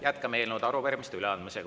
Jätkame eelnõude ja arupärimiste üleandmist.